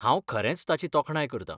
हांव खरेंच ताची तोखणाय करतां.